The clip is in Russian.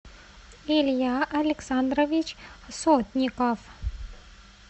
илья александрович сотников